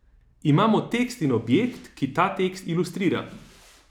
Imamo tekst in objekt, ki ta tekst ilustrira.